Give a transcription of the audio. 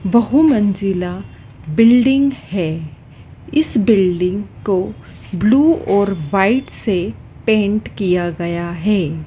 बहु मंजिला बिल्डिंग है इस बिल्डिंग को ब्लू और व्हाइट से पेंट किया गया है।